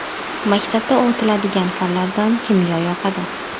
Maktabda o‘tiladigan fanlardan kimyo yoqadi.